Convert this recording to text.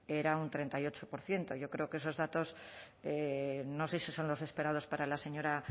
era un treinta y ocho por ciento yo creo que esos datos no sé si son los esperados para la señora